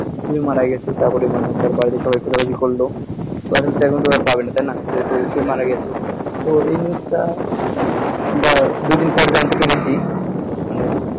সে মারা গেছে তারপর সবাই খোঁজাখুজি করলো এখনতো আর পাবে না তাইনা যেহেতু সে মারা গেছে তো এই news টা দুইদিন পর জানতে পারলাম যে মানে